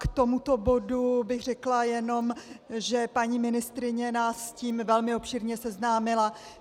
K tomuto bodu bych řekla jenom, že paní ministryně nás s tím velmi obšírně seznámila.